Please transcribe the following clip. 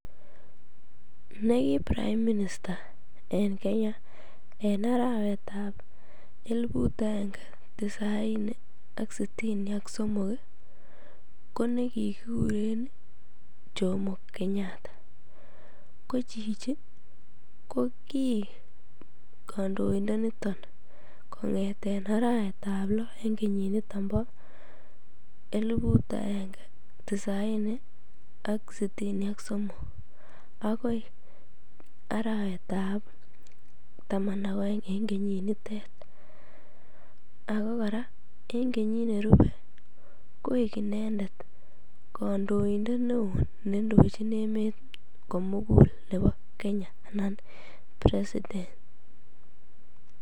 Nekii prime minister en Kenya en arawetab elibut akenge tisaini ak sitini ak somok ko ne kikikuren Jomo kenyatta, ko chichi ko kiik kondoindo niton kong'eten arawetab loo en kenyiniton boo elibut aenge tisaini ak sitini ak somok akoi arawetab taman ak oeng ak ko kora en kenyit nerube koik inendet kondoindet neoo nendochin emet komukul nebo kenya anan president.